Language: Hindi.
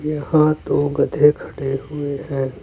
यहां दो गधे खड़े हुए हैं।